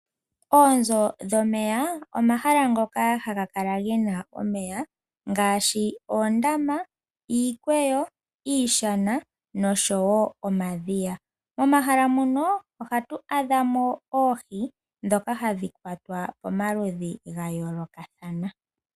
Oonzo dhomeya, omahala ngoka haga kala gena omeya ngashi oondama, iikweyo, iishana nosho wo omadhiya. Momahala muno ohatu adhamo oohi dhomaludhi ga yoolokathana dhoka hadhi kwatwa.